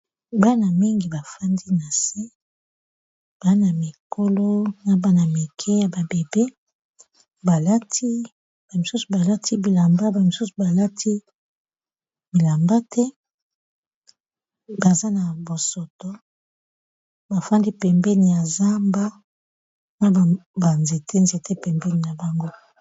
bana mingi bafandi na se bana mikolo na bana mike ya babebe bamisusu balati bilamba bamisusu balati bilamba te baza na bosoto bafandi pembeni ya zamba na banzete nzete pembeni na bango